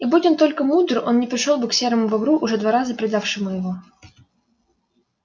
и будь он только мудр он не пришёл бы к серому бобру уже два раза предавшему его